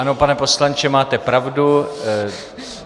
Ano, pane poslanče, máte pravdu.